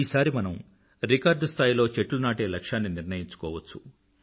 ఈసారి మనం రికార్డ్ స్థాయిలో చెట్లు నాటే లక్ష్యాన్ని నిర్ణయించుకోవచ్చు